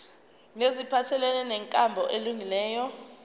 neziphathelene nenkambo elungileyo